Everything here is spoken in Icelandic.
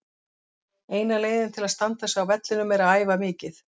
Eina leiðin til að standa sig á vellinum er að æfa mikið.